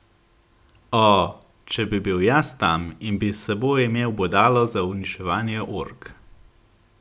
O, če bi bil jaz tam in bi s seboj imel bodalo za uničevanje ork.